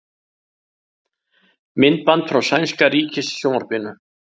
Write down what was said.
Myndband frá sænska ríkissjónvarpinu